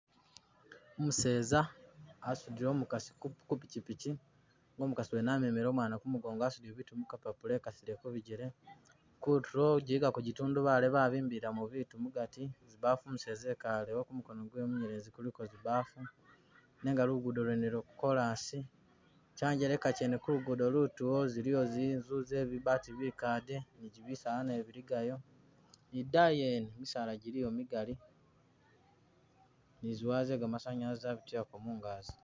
Umuseza asudile umukasi ku ku pikyipikyi nenga umukasi amemele umwana kumugongo asudile bitu mu kapapula wekasileko bijjele, kutulo gyiligako gyitundubali babimbiliramu bitu mugali, zibafu umuseza ekalewo kumukono gwewe munyelezi kuliko zibafu nenga lugudo lwene lwo chorus, kyanjeleka kyene kulugudo lutulo ziliyo zinzu ze bibaati bikade ni gyimisaala nabyo biligayo, idaayi yene misaala gyiliyo migali ni zi wire ze kamasanyalazi zabitilako mungazi